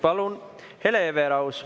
Palun, Hele Everaus!